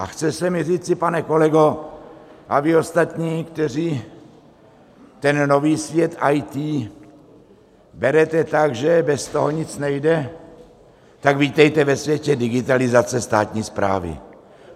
A chce se mi říci, pane kolego a vy ostatní, kteří ten nový svět IT berete tak, že bez toho nic nejde, tak vítejte ve světě digitalizace státní správy.